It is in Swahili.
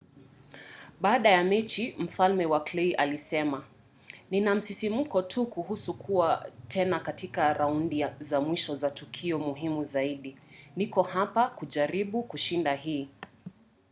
baada ya mechi mfalme wa clay alisema nina msisimko tu kuhusu kuwa tena katika raundi za mwisho za tukio muhimu zaidi. niko hapa kujaribu kushinda hii.